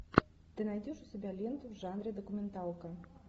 ты найдешь у себя ленту в жанре документалка